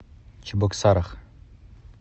чебоксарах